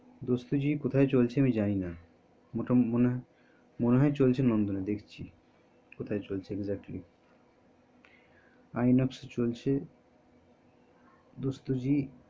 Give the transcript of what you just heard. দোস্তজি কোথায় চলছে আমি জানি না তুই বলি নন্দনে আছে মনে হয় চলছে নন্দনে দেখছি কোথায় চলছে exactlyতাহলে নন্দনে যাবো দেখতেInox এ চলছে